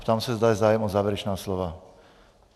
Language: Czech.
Ptám se, zda je zájem o závěrečná slova.